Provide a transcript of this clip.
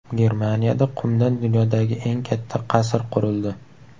Germaniyada qumdan dunyodagi eng katta qasr qurildi .